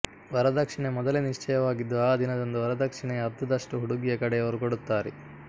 ವರದಕ್ಷಿಣೆ ಮೊದಲೇ ನಿಶ್ಚಯವಾಗಿದ್ದು ಆ ದಿನದಂದು ವರದಕ್ಷಿಣೆಯ ಅರ್ಧದಷ್ಟು ಹುಡುಗಿಯ ಕಡೆಯವರು ಕೊಡುತ್ತಾರೆ